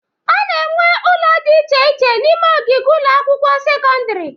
A na-enwe ụlọ dị iche iche n'ime ogige ụlọ akwụkwọ sekọndịrị.